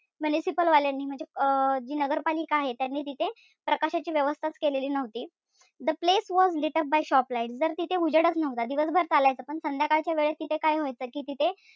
Municipal वाल्यानी म्हणजे अं जी नगरपालिका आहे त्यांनी तिथे प्रकाशाची व्यवस्थाच केली नव्हती. The place was lit up by shop lights तर तिथे उजेडच नव्हता. दिवसभर चालायचा पण संध्याकाळच्या वेळेस तिथे काय व्हायचं कि तिथे,